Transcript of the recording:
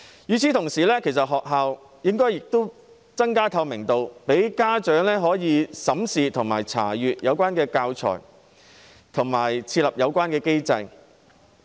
與此同時，學校亦應增加透明度，讓家長可以審視和查閱教材，並設立相關機制。